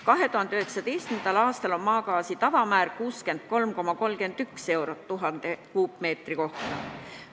2019. aastal on maagaasi aktsiisi tavamäär 63,31 eurot 1000 m3 kohta.